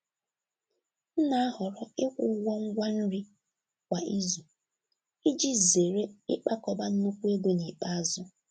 M na-ahọrọ ikwụ ụgwọ ngwa nri kwa izu iji zere ịkpakọba nnukwu ego n’ikpeazụ.